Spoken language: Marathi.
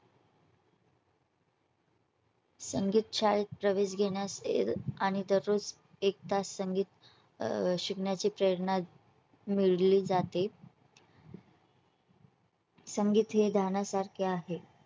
संगीत शाळेत प्रवेश घेण्यास आणि दररोज एकतास संगीत शिकण्याची प्रेरणा मिळाली जाते. संगीत हे ध्यानासारखे आहे